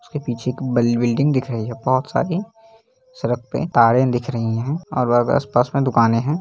उसके पीछे एक ब बिल्डिंग दिख रही है बहुत सारी सड़क पे तारे दिख रही है और आस-पास में दुकाने है।